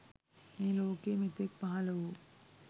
මේ ලෝකයේ මෙතෙක් පහළ වූ